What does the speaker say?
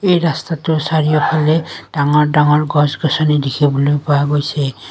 এই ৰাস্তাটোৰ চাৰিওফালে ডাঙৰ ডাঙৰ গছ গছনি দেখিবলৈ পোৱা গৈছে।